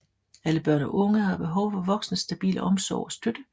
Alle børn og unge har behov for voksnes stabile omsorg og støtte